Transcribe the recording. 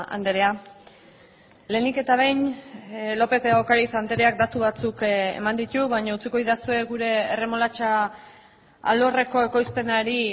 andrea lehenik eta behin lópez de ocariz andreak datu batzuk eman ditu baina utziko didazue gure erremolatxa alorreko ekoizpenari